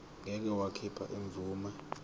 ngeke wakhipha imvume